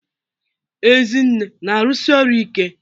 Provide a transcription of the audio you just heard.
Ezinne na-arụsi ọrụ ike?